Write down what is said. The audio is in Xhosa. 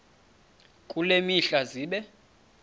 kule mihla zibe